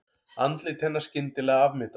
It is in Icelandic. Andlit hennar skyndilega afmyndað.